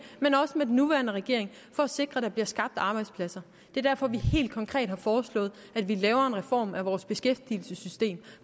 men også under den nuværende regering for at sikre at der bliver skabt arbejdspladser det er derfor vi helt konkret har foreslået at vi laver en reform af vores beskæftigelsessystem